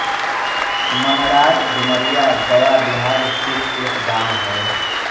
मनरार डुमरिया गया बिहार स्थित एक गाँव है